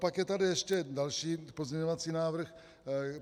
Naopak je tady ještě další pozměňovací návrh.